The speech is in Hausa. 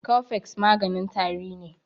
Cofex maganin tari ne.